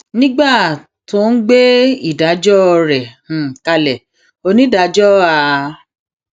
nígbà um tó ń gbé ìdájọ um rẹ kalẹ onídàájọ a